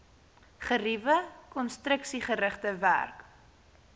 geriewe konstruksiegerigte werk